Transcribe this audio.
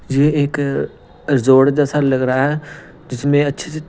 यह एक जोड़ जैसा लग रहा है जिसमें अच्छे से।